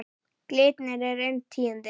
Glitnir er inn tíundi